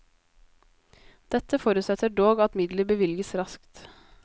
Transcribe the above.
Dette forutsetter dog at midler bevilges raskt.